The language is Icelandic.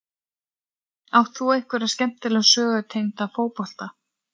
Átt þú einhverja skemmtilega sögu tengda fótbolta?